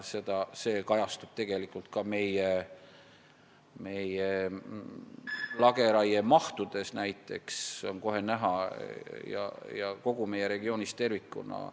See kajastub ka lageraie mahtudes, see on seal kohe näha ja seda kogu meie regioonis tervikuna.